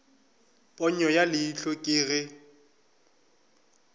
ponyo ya leihlo ke ge